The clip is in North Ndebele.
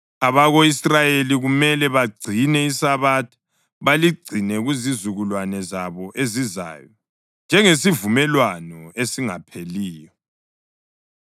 Abako-Israyeli kumele bagcine iSabatha, baligcine kuzizukulwane zabo ezizayo njengesivumelwano esingapheliyo.